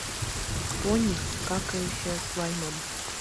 пони какающая с лаймом